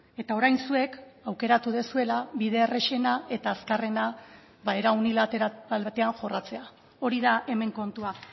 eta orain zuek aukeratu duzuela bide errazena eta azkarrena era unilateral batean jorratzea hori da hemen kontua